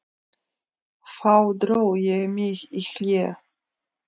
Þá dró ég mig í hlé.